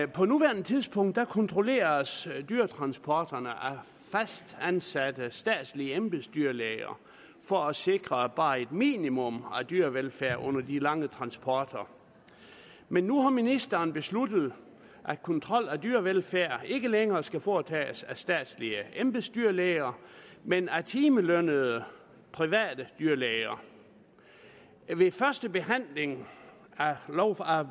på nuværende tidspunkt kontrolleres dyretransporterne af fastansatte statslige embedsdyrlæger for at sikre bare et minimum af dyrevelfærd under de lange transporter men nu har ministeren besluttet at kontrollen af dyrevelfærd ikke længere skal foretages af statslige embedsdyrlæger men af timelønnede private dyrlæger ved førstebehandlingen